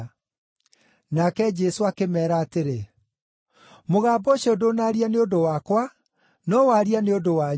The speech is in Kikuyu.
Nake Jesũ akĩmeera atĩrĩ, “Mũgambo ũcio ndũnaaria nĩ ũndũ wakwa, no waria nĩ ũndũ wanyu.